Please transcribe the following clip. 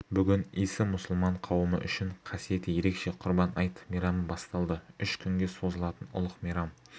бүгін исі мұсылман қауымы үшін қасиеті ерекше құрбан айт мейрамы басталды үш күнге созылатын ұлық мейрам